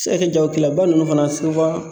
Se ka kɛ jagokɛlaba ninnu fana suwan